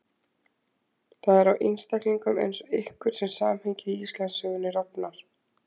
Það er á einstaklingum eins og ykkur sem samhengið í Íslandssögunni rofnar.